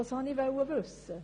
Das wollte ich wissen.